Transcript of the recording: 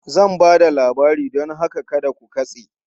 Zan ba da labari don haka kada ku katse!